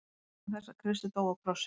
Vegna þess að Kristur dó á krossi.